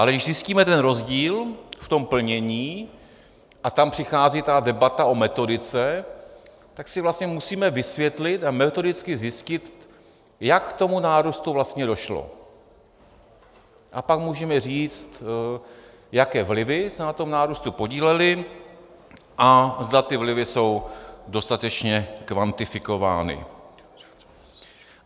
Ale když zjistíme ten rozdíl v tom plnění, a tam přichází ta debata o metodice, tak si vlastně musíme vysvětlit a metodicky zjistit, jak k tomu nárůstu vlastně došlo, a pak můžeme říct, jaké vlivy se na tom nárůstu podílely a zda ty vlivy jsou dostatečně kvantifikovány.